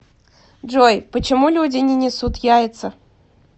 джой почему люди не несут яица